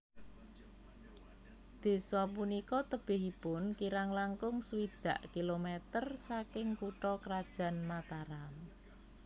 Desa punika tebihipun kirang langkung swidak kilometer saking kutha krajan Mataram